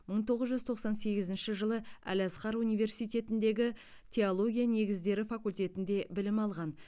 мың тоғыз жүз тоқсан сегізінші жылы әл азхар университетіндегі теология негіздері факультетінде білім алған